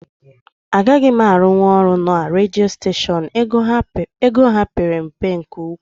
Agaghị m arunwu na redio steshion, ego ha père mpe nke ụkwụ